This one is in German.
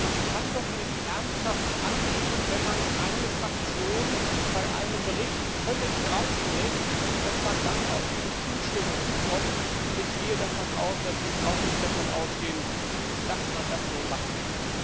Man kann doch nicht ernsthaft annehmen, wenn man eine Fraktion bei einem Bericht völlig draußen lässt, dass man dann auch deren Zustimmung bekommt. Ich gehe davon aus, dass Sie auch nicht meinen, dass man das so machen kann.